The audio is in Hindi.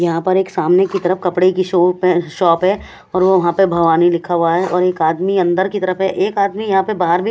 यहां पर एक सामने की तरफ कपड़े की शॉप है शॉप है और वो पर भवानी लिखा हुआ है और एक आदमी अंदर की तरफ है। एक आदमी यहां पे बाहर भी --